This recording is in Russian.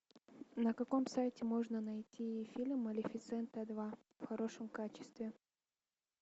на каком сайте можно найти фильм малефисента два в хорошем качестве